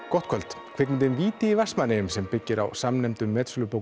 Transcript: gott kvöld kvikmyndin víti í Vestmannaeyjum sem byggir á samnefndum